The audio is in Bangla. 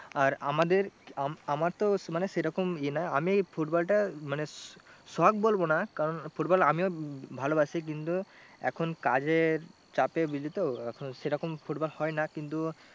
আর আমাদের আমার তো মানে সেরকম এ নয় আমি football টা মানে শখ বলবো না কারণ football আমিও ভালোবাসি কিন্তু এখন কাজের চাপে বুঝলি তো অত সেরকম football হয় না কিন্তু